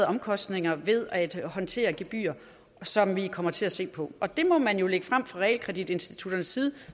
omkostninger ved at håndtere gebyrer som vi kommer til at se på og det må man jo lægge frem fra realkreditinstitutternes side